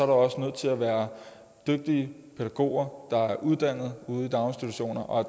også nødt til at være dygtige pædagoger der er uddannet ude i daginstitutionerne og